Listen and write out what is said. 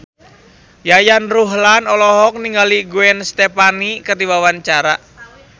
Yayan Ruhlan olohok ningali Gwen Stefani keur diwawancara